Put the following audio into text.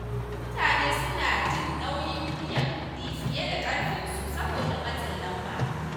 Wasu mutane suna jin nauyin biyan kuɗi fiye da ƙarfin su saboda matsin lamba.